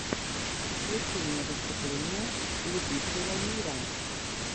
включи мне выступление любителямира